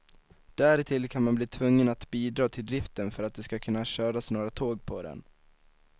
Därtill kan man bli tvungen att bidra till driften för att det skall kunna köras några tåg på den.